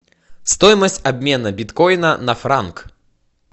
стоимость обмена биткоина на франк